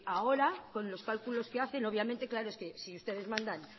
ahora con los cálculos que hacen obviamente claro es que si ustedes mandan